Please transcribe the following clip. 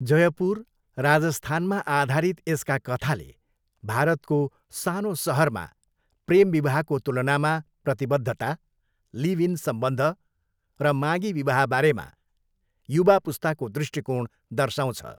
जयपुर, राजस्थानमा आधारित यसका कथाले भारतको सानो सहरमा प्रेम विवाहको तुलनामा प्रतिबद्धता, लिभ इन सम्बन्ध र मागी विवाहबारेमा युवा पुस्ताको दृष्टिकोण दर्शाउँछ।